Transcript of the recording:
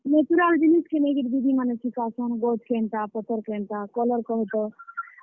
Natural ଜିନିଷ୍ କେ ନେଇକରି ଦିଦିମାନେ ଶିଖାସନ୍, ଗଚ୍ କେନ୍ ଟା ପତର୍ କେନ୍ ଟା, colour କହତ।